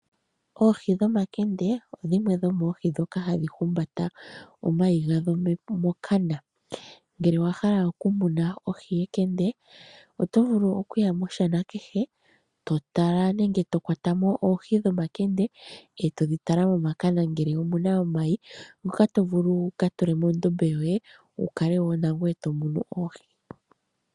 Oohi dhomakende odhimwe dhomoohi ndhoka hadhi humbata omayi gadho mokana. Ngele owa hala okumuna ohi yekende, oto vulu okuya moshana kehe, to tala nenge to kwata mo oohi dhomakende, e to dhi tala momakana ngele omu na omayi ngoka to vulu wu ka tule mondombe yoye, wu kale wo nangoye to mono oohi.